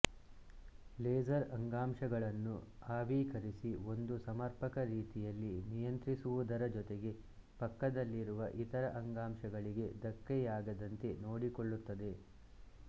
laser ಅಂಗಾಂಶಗಳನ್ನು ಆವೀಕರಿಸಿ ಒಂದು ಸಮರ್ಪಕ ರೀತಿಯಲ್ಲಿ ನಿಯಂತ್ರಿಸುವುದರ ಜೊತೆಗೆ ಪಕ್ಕದಲ್ಲಿರುವ ಇತರ ಅಂಗಾಂಶಗಳಿಗೆ ಧಕ್ಕೆಯಾಗದಂತೆ ನೋಡಿಕೊಳ್ಳುತ್ತದೆ